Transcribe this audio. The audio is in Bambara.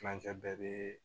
Kilancɛ bɛɛ bɛ